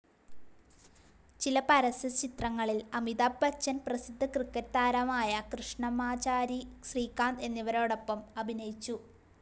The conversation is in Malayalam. ചില പരസ്യ ചിത്രങ്ങളിൽ അമിതാഭ് ബച്ചൻ, പ്രസിദ്ധ ക്രിക്കറ്റ്‌ താരമായ കൃഷ്ണമാചാരി ശ്രീകാന്ത് എന്നിവരോടൊപ്പം അഭിനയിച്ചു.